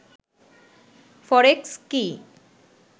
ফরেক্স কি